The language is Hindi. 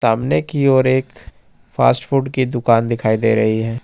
हमने की और एक फास्ट फूड की दुकान दिखाई दे रही है।